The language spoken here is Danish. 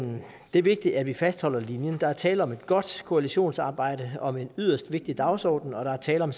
er vigtigt at vi fastholder linjen der er tale om et godt koalisionsarbejde og med en yderst vigtigt dagsorden og der er tale om